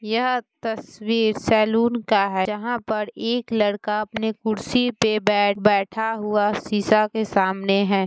यह तस्वीर सैलून का है जहाँ पर एक लड़का अपने कुर्सी पे बैठ बैठा हुआ शीशा के सामने है।